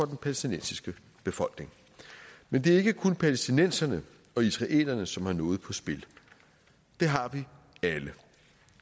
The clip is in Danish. palæstinensiske befolkning men det er ikke kun palæstinenserne og israelerne som har noget på spil det har vi alle